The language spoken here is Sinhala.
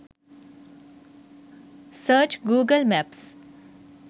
search google maps